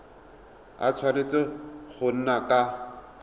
a tshwanetse go nna ka